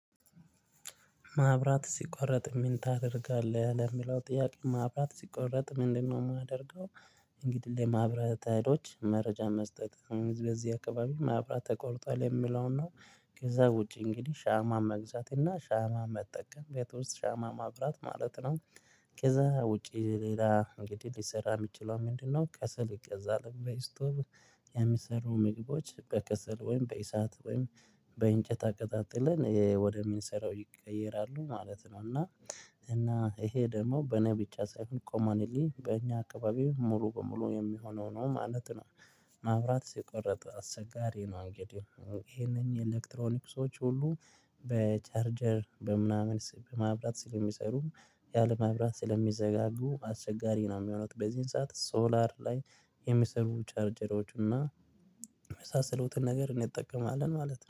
ማብራት ሲቋረጥ ምን ታደርጋለህ ለሚለው ጥያቄ ማብራት ሲቋረጥ ምንድነው የማደርገው? እንግዲህ ለማብራት ሀይሎች መረጃ መስጠት በዚህ አካባቢ ማብራት ተቆርጧል የምለውን ነው። ከዛ ውጪ እንግዲህ ሻማ መግዛት እና ሻማ መጠቀም ቤት ውስጥ ሻማ ማብራት ማለት ነው። ከዛ ውጪ ሌላ እንግዲህ ሊሰራ የሚችለው ምንድነው? ከስል ይገዛል በእስቶቭ። የሚሰሩ ምግቦች በከስል ወይም በኢሳት ወይም በእንጨት አቀጣጥለን ወደሚንሰራው ይቀየራሉ ማለት ነው። እና እና ይሄ ደግሞ በኔብቻ ሳይሆን ኮመንሊ በእኛ አካባቢው ሙሉ በሙሉ የሚሆነው ነው ማለት ነው። ማብራት ሲቆረጥ አስቸጋሪ ነው። እንግዲህ ይሄንን የኤሌክትሮኒክሶች ሁሉ በቻርጀር በምናምን በማብራት ስለሚሰሩም ያለማብራት ስለሚዘጋጉ አስቸጋሪ ነው። የሚሆኑት በዚህን ሰዓት ሶላር ላይ የሚሰሩ ቻርጀሮች እና የመሳሰሉትን ነገር እኔ እንጠቀማለን ማለት ነው